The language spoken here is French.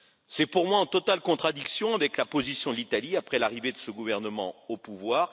C'est pour moi en totale contradiction avec la position de l'Italie depuis l'arrivée de ce gouvernement au pouvoir.